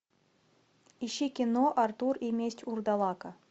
ищи кино артур и месть урдалака